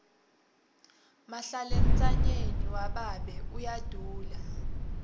mahlalentsanyeni wababe uyadula